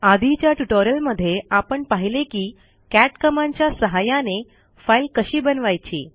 आधीच्या ट्युटोरियलमध्ये आपण पाहिले की कॅट कमांडच्या सहाय्याने फाईल कशी बनवायची